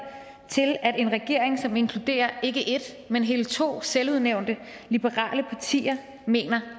til at regeringen som inkluderer ikke et men hele to selvudnævnte liberale partier mener